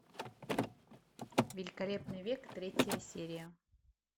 великолепный век третья серия